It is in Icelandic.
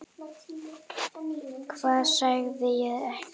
Hvað sagði ég ekki?